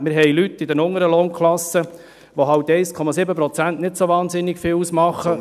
Wir haben Leute in den unteren Lohnklassen, für die 1,7 Prozent nicht so unglaublich viel ausmachen.